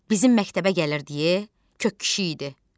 Bizim məktəbə gəlirdi, kök kişi idi.